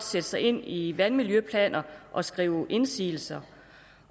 sætte sig ind i vandmiljøplaner og skrive indsigelser